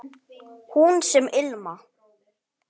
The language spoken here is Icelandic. Hús sem ilma